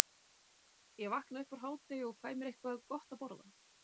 Ég vakna upp úr hádegi og fæ mér eitthvað gott að borða.